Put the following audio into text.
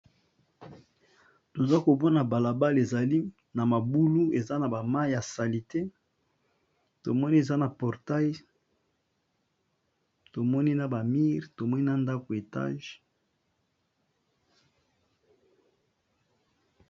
Toza komona balabala ezali na mabulu na mayi ya salite tomoni eza na portaille ba mur tomoni ndako ya Etage.